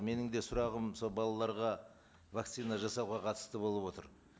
менің де сұрағым сол балаларға вакцина жасауға қатысты болып отыр